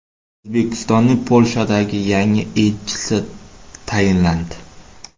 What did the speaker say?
O‘zbekistonning Polshadagi yangi elchisi tayinlandi.